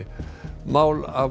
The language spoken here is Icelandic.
mál af